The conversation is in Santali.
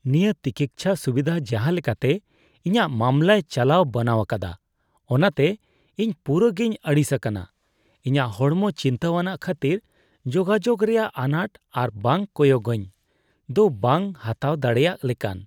ᱱᱤᱭᱟᱹ ᱴᱤᱠᱤᱪᱪᱷᱟ ᱥᱩᱵᱤᱫᱷᱟ ᱡᱟᱦᱟ ᱞᱮᱠᱟᱛᱮ ᱤᱧᱟᱜ ᱢᱟᱢᱞᱟᱭ ᱪᱟᱞᱟᱣ ᱵᱟᱱᱟᱣ ᱟᱠᱟᱫᱟ ᱚᱱᱟᱛᱮ ᱤᱧ ᱯᱩᱨᱟᱹ ᱜᱮᱧ ᱟᱹᱲᱤᱥ ᱟᱠᱟᱱᱟ ᱾ ᱤᱧᱟᱜ ᱦᱚᱲᱢᱚ ᱪᱤᱱᱛᱟᱹᱣᱟᱱᱟᱜ ᱠᱷᱟᱹᱛᱤᱨ ᱡᱳᱜᱟᱡᱳᱜ ᱨᱮᱭᱟᱜ ᱟᱱᱟᱴ ᱟᱨ ᱵᱟᱝ ᱠᱚᱭᱚᱜᱟᱹᱧ ᱫᱚ ᱵᱟᱝ ᱦᱟᱛᱟᱣ ᱫᱟᱲᱮᱭᱟᱜ ᱞᱮᱠᱟᱱ ᱾